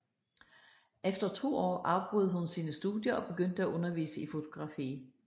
Efter to år afbrød hun sine studier og begyndte at undervise i fotografi